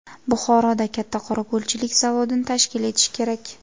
Buxoroda katta qorako‘lchilik zavodini tashkil etish kerak.